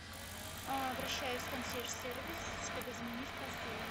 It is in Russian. обращаюсь в консьерж сервис чтобы заменить постельное